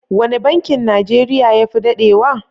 Wane bankin Najeriya ya fi dadewa?